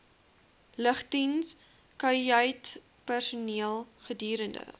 lugdiens kajuitpersoneel gedurende